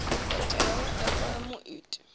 dokotela we a ṱola muiti